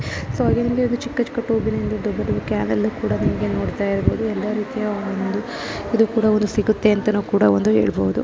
So ಇಲ್ಲಿ ಚಿಕ್ಕ ಚಿಕ್ಕ ದೊಡ್ಡ ದೊಡ್ಡ ಕ್ಯಾನ್ ಎಲ್ಲ ರೀತಿಯ ಒಂದು ಇದು ಕೂಡ ಒಂದು ಸಿಗುತ್ತೆ ಅಂತ ನಾವ್ ಕೂಡ ಒಂದು ಹೇಳಬಹುದು.